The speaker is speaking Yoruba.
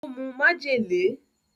Ó mu májèlé.